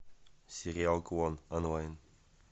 сериал клон онлайн